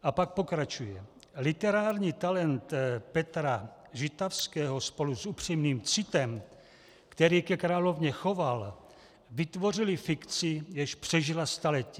A pak pokračuje: "Literární talent Petra Žitavského spolu s upřímným citem, který ke královně choval, vytvořily fikci, jež přežila staletí.